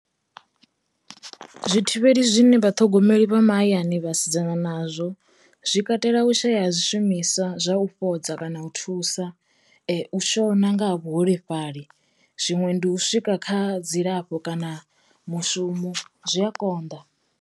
Zwi thivheli zwine vha thogomeli vha mahayani vhasidzana nazwo zwi katela u shaya zwishumiswa zwa u fhodza kana u thusa, u shona nga ha vhuholefhali, zwiṅwe ndi u swika kha dzilafho kana mushumo zwi a konḓa.